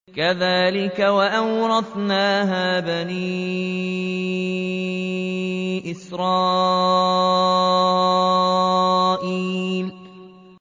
كَذَٰلِكَ وَأَوْرَثْنَاهَا بَنِي إِسْرَائِيلَ